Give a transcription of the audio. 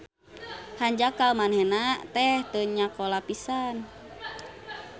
Hanjakal manehna teh teu nyakola pisan